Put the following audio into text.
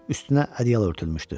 Üstünə ədyal örtülmüşdü.